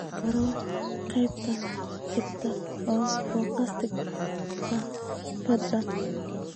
dooro qaybta xigta ee podcast-ka fadlan